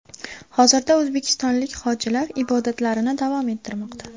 Hozirda o‘zbekistonlik hojilar ibodatlarini davom ettirmoqda.